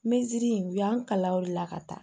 Mɛtiri in u y'an kalan o de la ka taa